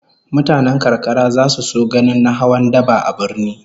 Mutanen karkara zasu so ganin na hawan daba a birni